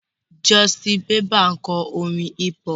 Justin Bieber ń kọrin hip-hop.